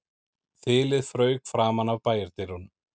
Þilið fauk framan af bæjardyrunum